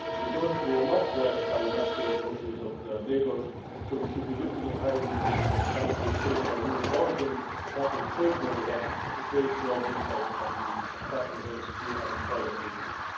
They are not blessed with the natural resources of their neighbours, so we should be looking at how we can, for example, change our rules of origin to help them trade more with us to create jobs inside the country and tackle the very severe unemployment they face.